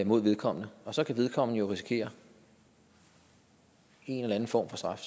mod vedkommende og så kan vedkommende jo risikere en eller anden form for straf